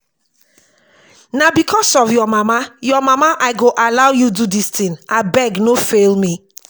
na because of your of your mama i go allow you do dis thing abeg no fail me